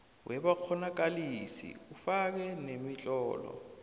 wabakghonakalisi ufake nemitlolo